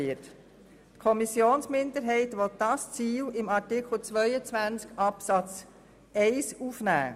Die Kommissionsminderheit will dieses Ziel unter Artikel 22 Absatz 1 aufnehmen.